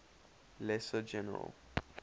lesser general